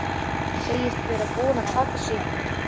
Segist vera búin að taka sig taki.